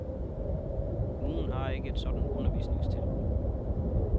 Kommunen har ikke et sådant undervisningstilbud.